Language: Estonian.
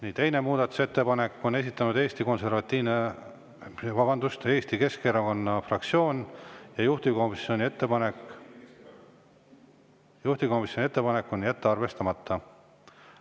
Nii, teise muudatusettepaneku on esitanud Eesti Keskerakonna fraktsioon, juhtivkomisjoni ettepanek on jätta arvestamata.